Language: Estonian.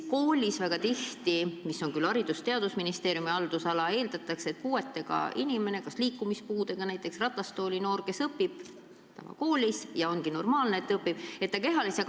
Kool kuulub Haridus- ja Teadusministeeriumi haldusvaldkonda ja üldiselt eeldatakse, et liikumispuudega laps, näiteks ratastooli aheldatud õpilane, kehalise kasvatuse tunnis ei osale.